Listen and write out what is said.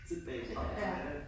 Så tilbage igen